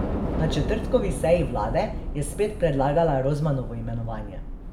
Na četrtkovi seji vlade je spet predlagala Rozmanovo imenovanje.